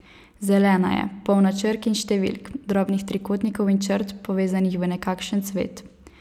Zelena je, polna črk in številk, drobnih trikotnikov in črt, povezanih v nekakšen cvet.